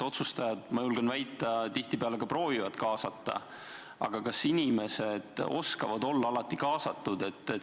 Otsustajad, ma julgen väita, tihtipeale proovivad kaasata, aga kas inimesed oskavad olla alati kaasatud?